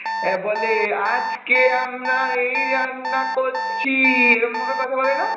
হ্যাঁ বলে আজকে আমরা এই রান্না করছি, এরম ভাবে কথা বলে না ?